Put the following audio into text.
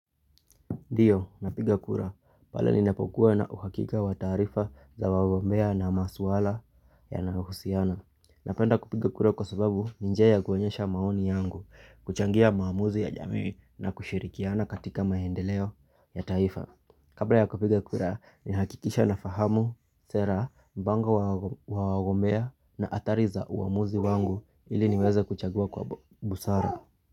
Ndiyo, napiga kura. Pale ninapokuwa na uhakika wa taarifa za wagombea na maswala yanayohusiana. Napenda kupiga kura kwa sababu ni njia ya kuonyesha maoni yangu, kuchangia maamuzi ya jamii na kushirikiana katika maendeleo ya taifa. Kabla ya kupiga kura, ninahakikisha nafahamu sera, mipango ya wagombea na athari za uamuzi wangu ili niweze kuchagua kwa busara.